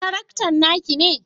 Taraktan naki ne?